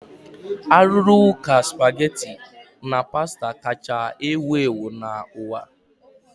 A rụrụ ụka spaghetti na pasta kacha ewu ewu n'ụwa.